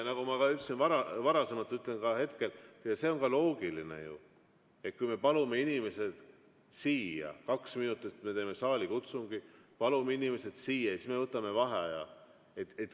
Nagu ma ütlesin varasemalt, ütlen ka hetkel, et see on ju loogiline, mitte nii, et me palume inimesed siia, kaks minutit teeme saalikutsungit ja siis võtame vaheaja.